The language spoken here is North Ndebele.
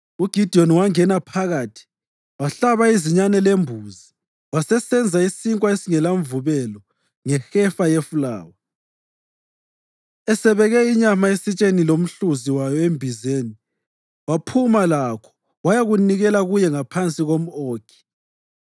UGidiyoni wangena phakathi wahlaba izinyane lembuzi, wasesenza isinkwa esingelamvubelo ngehefa yefulawa. Esebeke inyama esitsheni lomhluzi wayo embizeni, waphuma lakho wayakunikela kuye ngaphansi komʼOkhi.